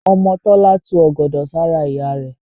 Ọmọ Tọ́lá tu ọ̀gọ̀dọ̀ sára ìyá rẹ̀.